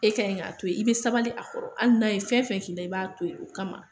E kan k'a o yen , i bɛ sabali a kɔrɔ , hali n'a ye fɛn o fɛn. K' i b'a to yen o kama.